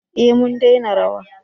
eh mu dena rawa